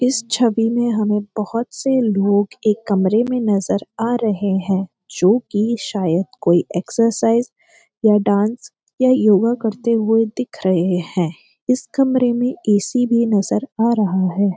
इस छवि में हमें बहोत से लोग एक कमरे में नजर आ रहे हैं जो‍ कि शायद कोई एक्सरसाइज या डांस या योगा करते हुए दिख रहे हैं इस कमरे में ए.सी. भी नजर आ रहा है।